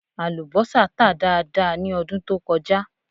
Àlùbọ́sà tà dáadáa ní ọdún tó kọjá